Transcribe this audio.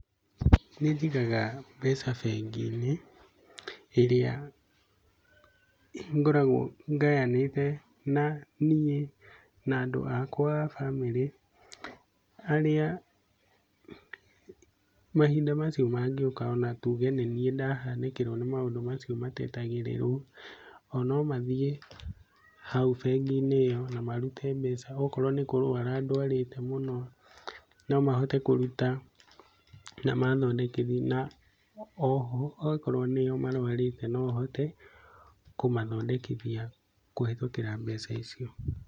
Nĩ njĩgaga mbeca bengi-inĩ ĩrĩa ngoragwo ngayanĩte na niĩ na andũ akwa a mbamĩrĩ arĩa mahinda macio mangioka ona tuge nĩ niĩ ndahanĩkĩrwo nĩ maũndũ macio matetangĩrĩrwo o no mathie hau bengi-inĩ ĩyo na marute mbeca no korwo nĩ kũrwara ndawarĩte mũno no mahote kũruta na mathondekithie na oho angĩkorwo nĩ o marwarite no hote kũmathondekithia kũhitũkĩra mbeca icio.